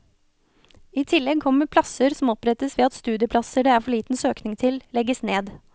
I tillegg kommer plasser som opprettes ved at studieplasser det er for liten søkning til, legges ned.